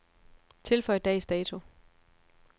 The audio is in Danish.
Tilføj dags dato.